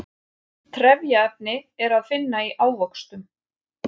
trefjaefni er að finna í ávöxtum